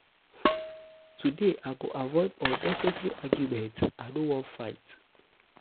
today um i go avoid unnecessary argument i no wan fight. um